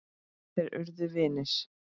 Þeir urðu vinir.